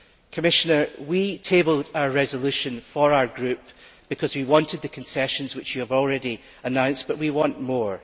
Commissioner, we tabled a resolution for our group because we wanted the concessions that you have already announced, but we want more.